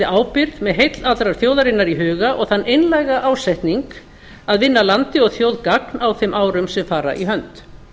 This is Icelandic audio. ábyrgð með heill allrar þjóðarinnar í huga og þann einlæga ásetning að vinna landi og þjóð gagn á þeim árum sem fara í hönd